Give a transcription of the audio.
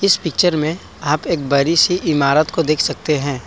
इस पिक्चर में आप एक बड़ी सी इमारत को देख सकते हैं ।